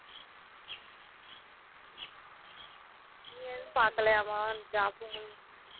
நீ ஏதும் பாக்கலயாமா job